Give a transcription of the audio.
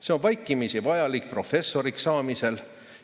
See on vaikimisi vajalik professoriks saamisel.